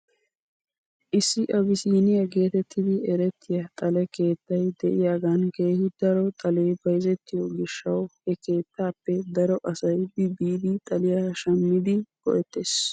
Issi abisiniyaa geetettidi erettiyaa xale keettay de'iyaagan keehi daro xalee bayzettiyoo gishshaw he keettaappe daro asay bi biidi xaliyaa shammidi go'ettes.